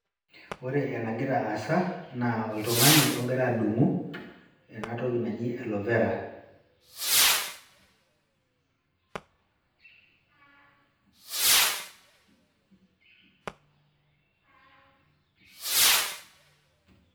Ore enagira aasa, naa oltung'ani ogira adung'u enatoki naji aloe Vera.